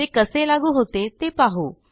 ते कसे लागू होते ते पाहू